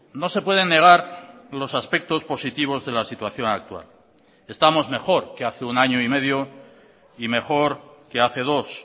no se pueden negar los aspectos positivos de la situación actual estamos mejor que hace un año y medio y mejor que hace dos